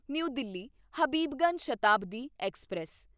new Delhi Habibganj Shatabdi express